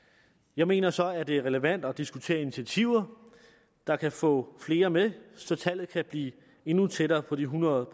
jeg mener så at det er relevant at diskutere initiativer der kan få flere med så tallet kan blive endnu tættere på de hundrede